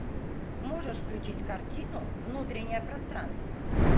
можешь включить картину внутреннее пространство